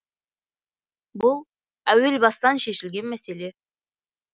бұл әуел бастан шешілген мәселе